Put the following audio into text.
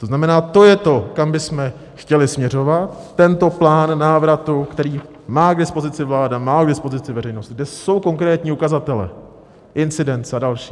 To znamená, to je to, kam bychom chtěli směřovat, tento plán návratu, který má k dispozici vláda, má k dispozici veřejnost, kde jsou konkrétní ukazatele, incidence a další.